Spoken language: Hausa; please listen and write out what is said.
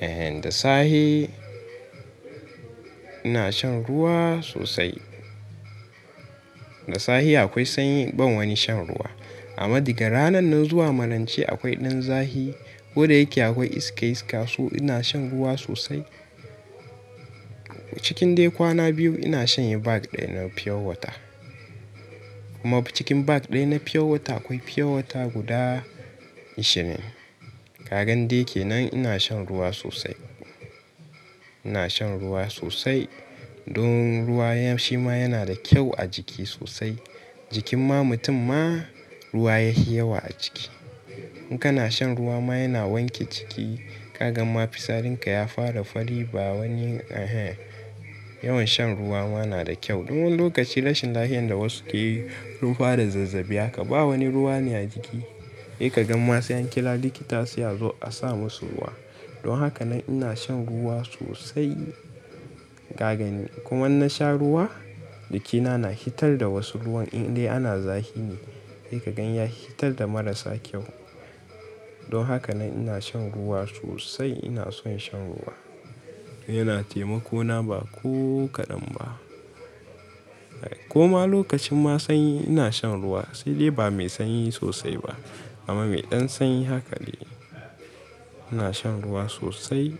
Ehen, da sahe ina shan ruwa sosai. Da safe akwai sanyi ban wani shan ruwa. Amma da ga ranan nan zuwa malance akwai ɗan zahi, goda yake akwai iska iska, su ina shan ruwa sosai. Cikin dai kwana biyu ina shanye bag ɗaya na pure water. Kuma cikin bag ɗaya na pure water akwai pure water guda ishirin. Kagan dai kenan ina shan ruwa sosai. Ina shan ruwa sosai. Don ruwa ya shima yana da kyau a jiki sosai. Jikin ma mutum ma ruwa yahi yawa a ciki. In kana shan ruwa ma yana wanke ciki. Kaga ma fisarin ka ya fara fari ba wani, ehen. Yawan shan ruwa ma nada kyau. Don lokaci rashin lafiya inda wasu keyi ruwa da zazzabi aka ba wani ruwa ne a jiki. Sai kaga ma sau an kira likita su a zo a sa musu ruwa. Don haka nan ina shan ruwa sosai. Kagani kuma in nasha ruwa, jikina na hitar da wasu ruwan in dai ana zahi ne. Ikagan ya hitar da marasa kyau. Don haka nan ina shan ruwa sosai. Ina son shan ruwa. Yana taimako na ba ko kaɗan ba. Koma lokacin ma sanyi ina shan ruwa. Sai dai ba mai sanyi sosai ba. Amma mai ɗan sanyi haka ne. Ina shan ruwa sosai.